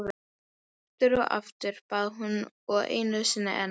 Aftur og aftur, bað hún og einu sinni enn.